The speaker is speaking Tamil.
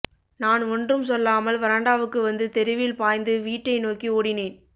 நான் ஒன்றும் சொல்லாமல் வராண்டாவுக்கு வந்து தெருவில் பாய்ந்து வீட்டை நோக்கி ஓடினேன்